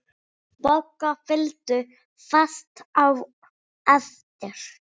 Bogga fylgdu fast á eftir.